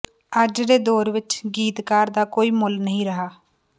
ਅੱਜ ਦੇ ਦੌਰ ਵਿੱਚ ਗੀਤਕਾਰ ਦਾ ਕੋਈ ਮੁੱਲ ਨਹੀਂ ਰਿਹਾ